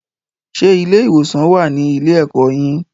Ṣé ilé-ìwòsàn wà á ní ilé-ẹ̀kọ́ yín